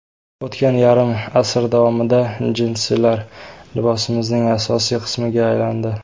O‘tgan yarim asr davomida jinsilar liboslarimizning asosiy qismiga aylandi.